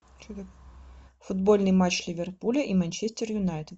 футбольный матч ливерпуля и манчестер юнайтед